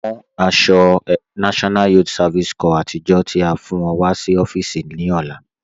Mú àṣọ̀ NYSC àtìjọ́ tí a fi fún ọ̀ sí ọ̀fíìsí ní ọlá